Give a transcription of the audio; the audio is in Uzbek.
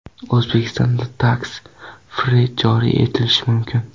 O‘zbekistonda tax-free joriy etilishi mumkin.